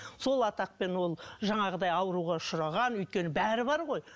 сол атақпен ол жаңағыдай ауруға ұшыраған өйткені бәрі бар ғой